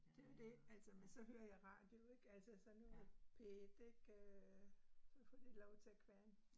Det jo det altså, men så hører jeg radio ik altså, så nu P1 ik øh, så får de lov til at kværne